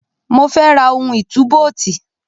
Mo fẹ́ ra ohun ìtúbóòtì.